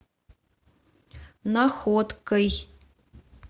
находкой